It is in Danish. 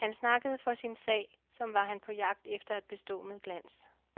Han snakkede for sin sag, som var han på jagt efter at bestå med glans.